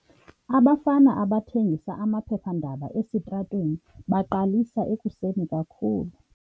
Abafana abathengisa amaphephandaba esitratweni baqalisa ekuseni kakhulu.